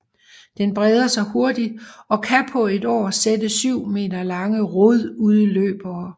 Den breder sig hurtigt og kan på et år sætte 7 m lange rodudløbere